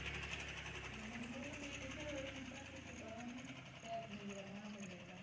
মানে বললাম এছাড়াও এরকম প্রাকৃতিক আরো অনেক pack নিজেরা বানানো যায় বাসায়।